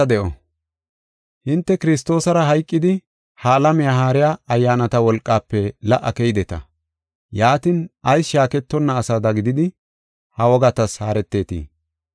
Hinte Kiristoosara hayqidi ha alamiya haariya ayyaanata wolqaafe la77a keydeta. Yaatin, ayis shaaketonna asada gididi ha wogatas haretetii?